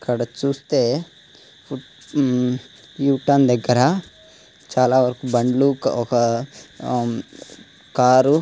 ఇక్కడ చూస్తే ఊ యు టర్న్ దగ్గర చాలా బండ్లు ఒక కార్